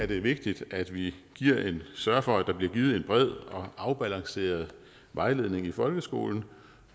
det vigtigt at vi sørger for at der bliver givet en bred og afbalanceret vejledning i folkeskolen